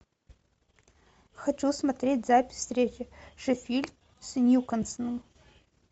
хочу смотреть запись встречи шеффилд с ньюкаслом